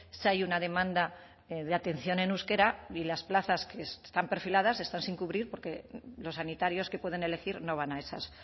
sí hay una demanda de atención en euskera y las plazas que están perfiladas están sin cubrir porque los sanitarios que pueden elegir no van a esas